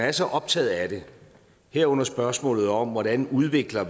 er så optaget af det herunder spørgsmålet om hvordan vi udvikler